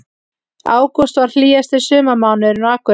Ágúst varð hlýjasti sumarmánuðurinn á Akureyri